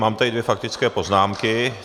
Mám tady dvě faktické poznámky.